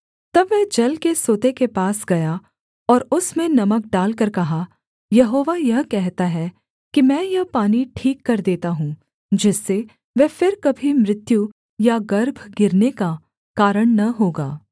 तब वह जल के सोते के पास गया और उसमें नमक डालकर कहा यहोवा यह कहता है कि मैं यह पानी ठीक कर देता हूँ जिससे वह फिर कभी मृत्यु या गर्भ गिरने का कारण न होगा